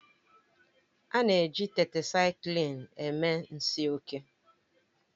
A na-eji Tetrasaiklin eme nsi oke